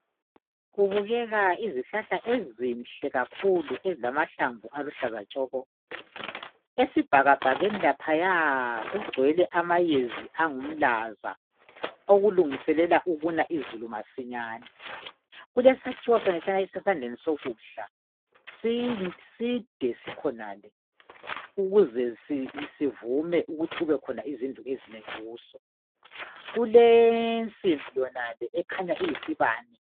Kubukeka izihlahla ezinhle kakhulu ezilamahlamvu aluhlaza tshoko. Esibhakabhakeni laphaya kugcwele amayezi angumlaza okulungiselela ukuna izulu masinyane. Kulesakhiwo esisandleni sokudla side sikhonale ukuze sivume ukuthi kubekhona izindlu ezinengi kuso. kulesimbi yonale ekhanya iyisibane.